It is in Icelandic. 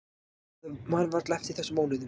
Maður man varla eftir þessum mánuðum.